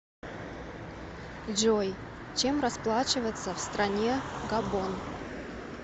джой чем расплачиваться в стране габон